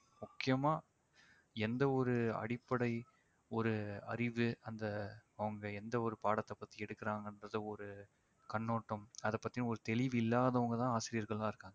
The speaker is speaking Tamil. முக்கியமா எந்த ஒரு அடிப்படை ஒரு அறிவு அந்த அவங்க எந்த ஒரு பாடத்தைப் பத்தி எடுக்குறாங்கன்றது ஒரு கண்ணோட்டம் அதைப்பத்தி ஒரு தெளிவில்லாதவங்கதான் ஆசிரியர்களா இருக்காங்க